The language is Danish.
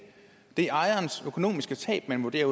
det er ejerens økonomiske tab man vurderer